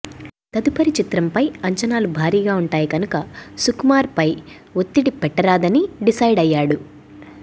తదుపరి చిత్రంపై అంచనాలు భారీగా వుంటాయి కనుక సుకుమార్పై ఒత్తిడి పెట్టరాదని డిసైడ్ అయ్యాడు